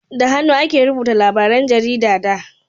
da hannu ake rubuta labaran jarida da